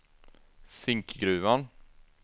Zinkgruvan